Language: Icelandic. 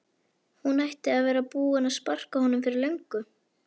Hún ætti að vera búin að sparka honum fyrir löngu